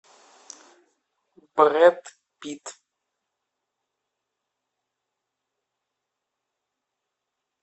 брэд питт